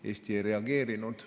Eesti ei reageerinud.